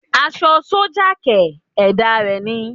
Aṣọ sọ́jà kẹ̀!! Ẹ̀dá rẹ ni